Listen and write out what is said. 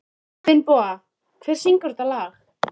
Finnboga, hver syngur þetta lag?